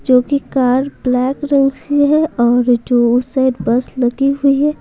जो कि car black रंग सी है और जो उस साइड बस लगी हुई है।